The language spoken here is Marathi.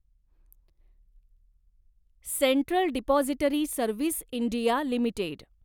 central depository service India limited